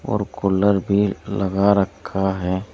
और कूलर भी लगा रखा है।